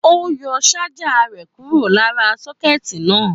Ó yọ ṣájà rẹ kúro lára sọ́kẹ́tì náà.